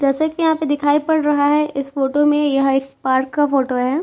जैसा कि यहां पर दिखाई पड़ रहा है इस फोटो में यह एक पार्क का फोटो है।